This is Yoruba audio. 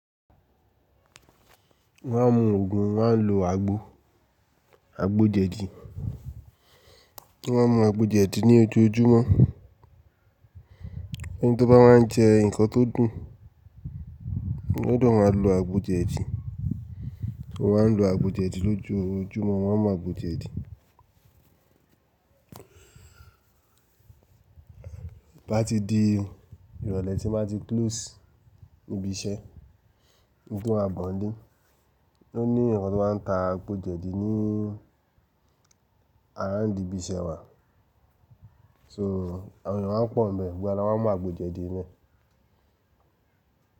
Mo máa ń mu Ògùn, wọ́n á lo àgbo, àgbo jẹ̀dí. Mo máa ń mu àgbo jẹ̀dí ní ojoojúmọ́. Ẹni tó bá máa ń jẹ nǹkan tó dùn, ọ gbodọ̀ máa lo àgbo jẹ̀dí. Mọ́ maa ń lo àgbo jẹ̀dí lójoojúmọ́, mọ́ máa ń mu àgbo jẹ̀dí. Bá ti di ìrọ̀lẹ́ tí wọ́n bá ti close ibi iṣẹ́, ki n tó máa bọ̀ nlé, ló ní eyaǹkan tó máa ń ta àgbo jẹ̀dí ní around ibi iṣẹ́ wa. So, àwọn èeyàn máa ń pọ̀ nbẹ̀, gbogbo ara wọ́n máa mu àgbo jẹ̀dí nbe.